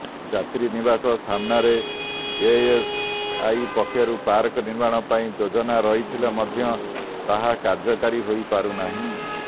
ଯାତ୍ରୀନିବାସ ସାମ୍ନାରେ ଏଏସ୍ଆଇ ପକ୍ଷରୁ ପାର୍କ ନିର୍ମାଣ ପାଇଁ ଯୋଜନା ରହିଥିଲେ ମଧ୍ୟ ତାହା କାର୍ଯ୍ୟକାରୀ ହୋଇ ପାରୁନାହିଁ